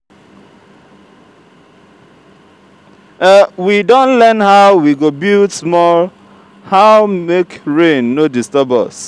we don learn how we go build small how make rain no disturb us.